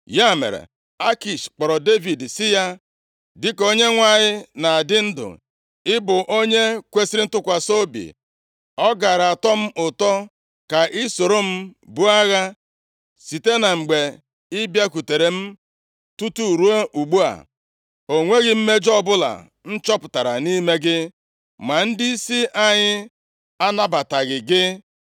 Ya mere, Akish kpọrọ Devid sị ya, “Dịka Onyenwe anyị na-adị ndụ, ị bụ onye kwesiri ntụkwasị obi. Ọ gaara atọ m ụtọ ka ị soro m buo agha. Site na mgbe ị bịakwutere m tutu ruo ugbu a, o nweghị mmejọ ọbụla m chọpụtara nʼime gị. Ma ndịisi anyị anabataghị gị.